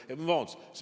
Vabandust!